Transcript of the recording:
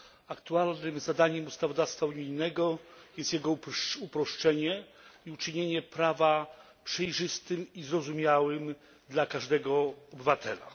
Aktualnym zadaniem ustawodawstwa unijnego jest jego uproszczenie i uczynienie prawa przejrzystym i zrozumiałym dla każdego obywatela.